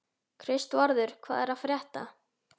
Kristvarður, hvað er að frétta?